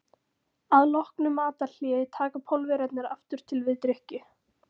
Að loknu matarhléi taka Pólverjarnir aftur til við drykkju.